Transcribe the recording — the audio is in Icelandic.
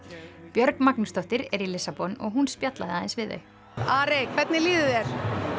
Björg Magnúsdóttir er í Lissabon og hún spjallaði við þau Ari hvernig líður þér